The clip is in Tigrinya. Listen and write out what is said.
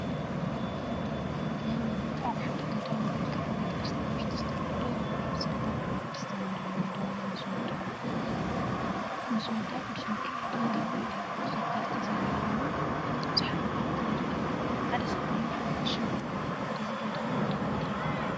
ሃይማኖት አብ ሓደ ገዳም ወይ ከዓ ቤተ ክርስትያን ውሽጢ ዝተፈላለዩ ሕብራዊ ስእሊታት ናይ ቅድስት ማርያም ድንግል ምስ ወዳ ቅዱስ ሚካኤልን ገብሪኤል ተከተልቲ ዘለውዋን ቡዙሓት መላእክትን ይርከቡዎ፡፡ ሓደ ሰብአይን ሓደ ቀሺን ይርከቡዎ፡፡ እዚ ገዳም እንዳምንታይ ይበሃል?